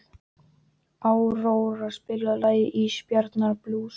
Áróra, spilaðu lagið „Ísbjarnarblús“.